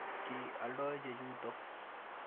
Ki aldoi chechutok.